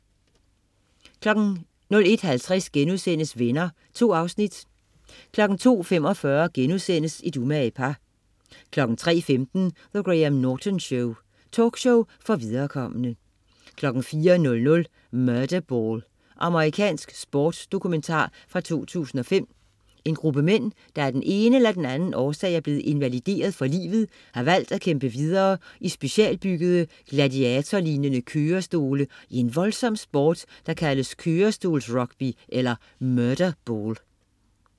01.50 Venner.* 2 afsnit 02.45 Et umage par* 03.15 The Graham Norton Show. Talkshow for viderekomne 04.00 Murderball. Amerikansk sportsdokumentar fra 2005. En gruppe mænd, der af den ene eller den anden årsag er blevet invalideret for livet, har valgt at kæmpe videre i specialbyggede gladiatorlignende kørestole i en voldsom sport, der kaldes kørestolsrugby eller 'Murderball'